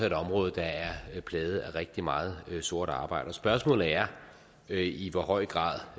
et område der er plaget af rigtig meget sort arbejde og spørgsmålet er er i hvor høj grad